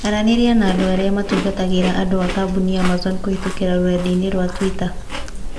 Aranĩria na andũ arĩa matungatagĩra andũ a kambuni ya Amazon kũhitũkĩra rũrenda-inī rũa tũita